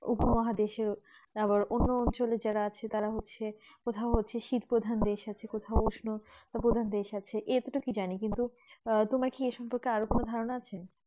উপ মহাদেশে তারপর অন্য অঞ্চলে যারা আছে তারা হচ্ছে কোথাও হচ্ছে শীত প্রধান দেশ আছে কোথায় উষ্ণ প্রধান দেশ আছে এতো টুকু জানি কিন্তু আহ তোমার এই সম্পর্কে আরো কোনো ধারণা আছে